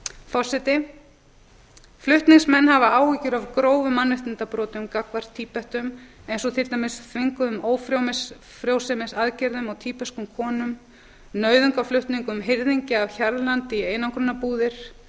forseti flutningsmenn hafa áhyggjur af grófum mannréttindabrotum gagnvart tíbetum eins og til dæmis þvinguðum ófrjósemisaðgerðum á tíbeskum konum nauðungarflutningum hirðingja af hjarðlandi í einangrunarbúðir